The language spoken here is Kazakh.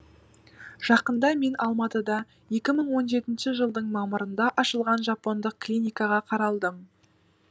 жақында мен алматыда екі мың он жетінші жылдың мамырында ашылған жапондық клиникаға қаралдым